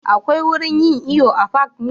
Akwai wurin yin iyo a fak ne?